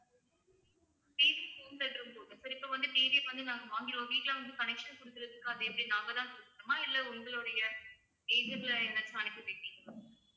TV home theater உம் போதும் sir இப்ப வந்து TV வந்து நாங்க வாங்கிடுவோம் வீட்ல வந்து connection குடுக்குறதுக்கு அது எப்படி நாங்க தான் குடுக்கணுமா இல்ல உங்களுடைய agent ல யாராச்சும் அனுப்பி விடுறீங்களா?